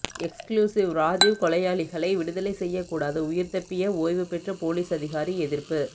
exclusive Rajiv கொலையாளிகளை விடுதலை செய்யக்கூடாது உயிர்தப்பிய ஓய்வு பெற்ற போலீஸ் அதிகாரி எதிர்ப்பு